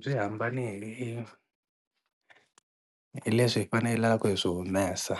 Byi hambane hi hi leswi hi fanelaka hi swi humesa